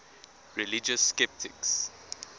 religious skeptics